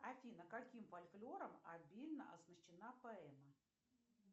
афина каким фольклором обильно оснащена поэма